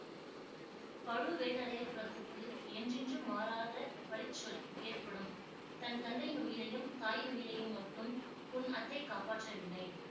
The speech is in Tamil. பழுவேட்டரையர் குலத்துக்கு என்றென்றும் மாறாத பழி சொல் ஏற்படும் தன் தந்தையின் உயிரையும் தாயின் உயிரையும் மட்டும் உன் அத்தை காப்பாற்றவில்லை